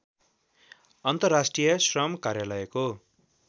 अन्तर्राष्ट्रिय श्रम कार्यालयको